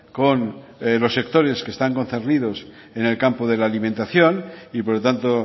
con los sectores que están concernidos en el campo de la alimentación y por lo tanto